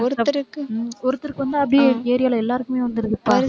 ஒருத்தருக்கு, ஒருத்தருக்கு வந்தா அப்படியே area ல எல்லாருக்குமே வந்துருதுப்பா